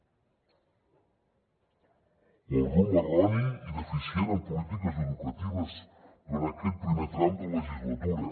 o el rumb erroni i deficient en polítiques educatives durant aquest primer tram de legislatura